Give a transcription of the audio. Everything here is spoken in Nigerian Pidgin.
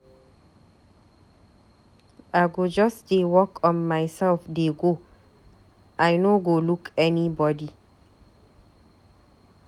I go just dey work on myself dey go, I no go look anybody.